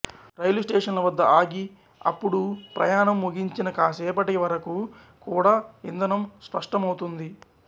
రైలు స్టేషన్ల వద్ద ఆగిఅప్పుడూ ప్రయాణం ముగించిన కాసేపటికి వరకూ కూడా ఇంధనం సష్టమవుతుంది